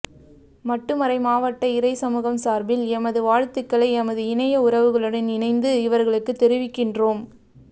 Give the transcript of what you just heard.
மட்டு மறை மாவட்ட இறை சமூகம் சார்பில் எமது வாழ்த்துக்களை எமது இணைய உறவுகளுடன் இணைந்து இவர்களுக்கு தெரிவிக்கின்றோம்